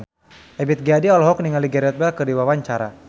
Ebith G. Ade olohok ningali Gareth Bale keur diwawancara